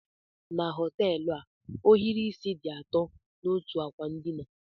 Na họteelụ a, ohiri isí dị atọ n'otú ákwà ndịna.